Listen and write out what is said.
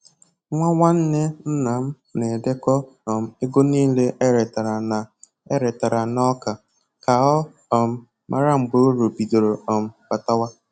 Nwa nwanne nna m na-edekọ um ego nile e retara na e retara na ọka, ka ọ um mara mgbe uru bidoro um batawa